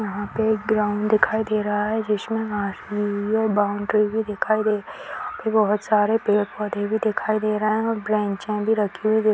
यहाँ पे एक ग्राउंड दिखाई दे रहा है जिसमे बाउंड्री भी दिखाई दे रही है और बहुत सारे पेड़-पौधे भी दिखाई दे रहा है और ब्रेंचे भी रखी हुई --